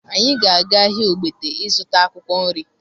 Anyị ga-aga ahịa Ogbete ịzụta akwụkwọ nri